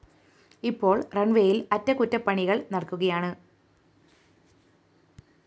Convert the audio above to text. ഇപ്പോള്‍ റണ്‍വേയില്‍ അറ്റകുറ്റപ്പണികള്‍ നടക്കുകയാണ്